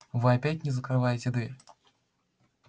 вы опять не закрываете дверь